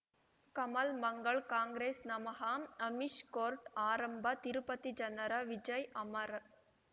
ಕಮಲ್ ಮಂಗಳ್ ಕಾಂಗ್ರೆಸ್ ನಮಃ ಅಮಿಷ್ ಕೋರ್ಟ್ ಆರಂಭ ತಿರುಪತಿ ಜನರ ವಿಜಯ್ ಅಮರ್